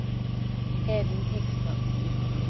Hedvig Häggström